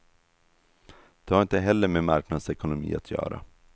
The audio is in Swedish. Det har inte heller med marknadsekonomi att göra.